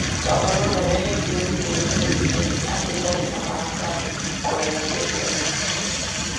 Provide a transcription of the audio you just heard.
Ngavana ũrĩa weheretio gĩtĩ-inĩ nĩ oigaga atĩ ndarĩ na marakara kwerekera Muktar.